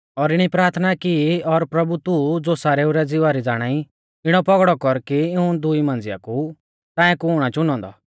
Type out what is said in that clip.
और इणी प्राथना की ओ प्रभु तू ज़ो सारेऊ रै ज़िवा री ज़ाणाई इणौ पौगड़ौ कर कि इऊं दुई मांझ़िया कु ताऐं कुण आ चुनौ औन्दौ